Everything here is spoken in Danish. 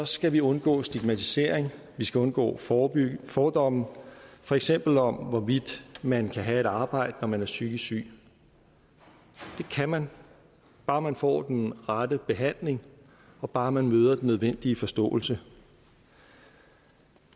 skal vi undgå stigmatisering vi skal undgå fordomme fordomme for eksempel om hvorvidt man kan have et arbejde når man er psykisk syg det kan man bare man får den rette behandling og bare man møder den nødvendige forståelse